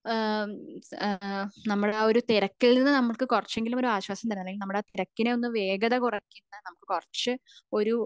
ഏഹ്ഹ് ഏഹ്ഹ് നമ്മളുടെ അഹ് ഒരു തിരക്ക് നമുക്ക് കുറച്ചെങ്കിലും ഒരു ആശ്വാസം തറ അല്ലെങ്കിൽ നമ്മുടെ തിരക്കിന് ഒന്ന് വേഗത കുറക്കുന്ന നമുക് കുറച്ച ഒരു